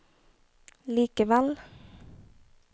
likevel